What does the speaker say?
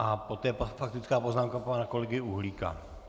A poté faktická poznámka pana kolegy Uhlíka.